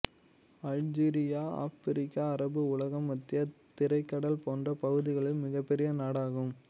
Algeria Africa அரபு உலம் மத்திய தரைக்கடல் போன்ற பகுதிகளில் மிகப்பெரிய நாடாகும்